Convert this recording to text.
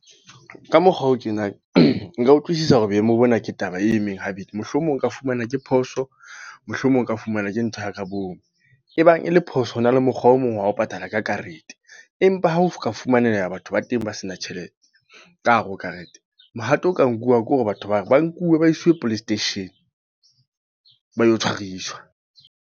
Ka mokgwa o tjena. Nka utlwisisa hore boemo bona ke taba e emeng habedi. Mohlomong nka fumana ke phoso. Mohlomong oka fumana ke ntho ya ka bomo. E bang e le phoso, ho na le mokgwa o mong wa ho patala ka karete. Empa ha o ka fumanela batho ba teng ba se na tjhelete, ka hare ho karete. Mohato o ka nkuwang ke hore batho bao ba nkuwe ba isiwe police station, ba lo tshwariswa.